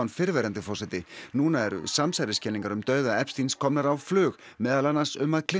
fyrrverandi forseti núna eru samsæriskenningar um dauða Epsteins komnar á flug meðal annars um að